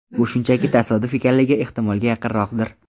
Bu shunchaki tasodif ekanligi ehtimolga yaqinroqdir.